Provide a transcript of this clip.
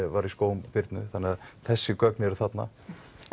var í skóm Birnu þannig að þessi gögn eru þarna